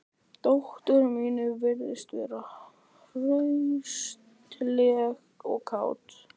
Dóttir mín virðist vera hraustleg og kát